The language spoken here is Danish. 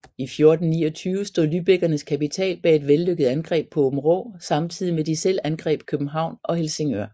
I 1429 stod lübeckernes kapital bag et vellykket angreb på Åbenrå samtidig med de selv angreb København og Helsingør